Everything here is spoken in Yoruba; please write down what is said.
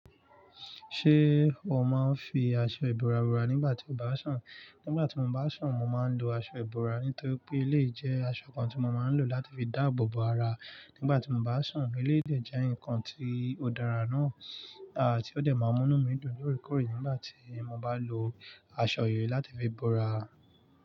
Ṣé o máa ń fi aṣọ ìbora bora nígbà tí o bá ń sun? Nígbà tí mo bá ń sun, mo máa ń lo aṣọ ìbora. Nítorí pé eléyìí jẹ aṣọ kan tí mo máa ń lò láti fi dáàbò bò ara nígbà tí mo bá ń sun. Ó léèjé jẹ́ nǹkan tí ó dára náà ti ó dẹ̀ máa mú inu mí dùn ni oore koore nígbà tí mo bá lo aṣọ yìí láti fi bora.